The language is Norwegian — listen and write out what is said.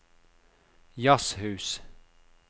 jazzhus